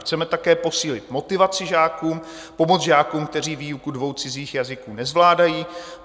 Chceme také posílit motivaci žáků, pomoct žákům, kteří výuku dvou cizích jazyků nezvládají.